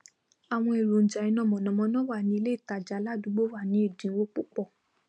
àwọn èrònjà iná mànàmáná wà ní iléìtajà aládúgbò wa ní èdínwó púpọ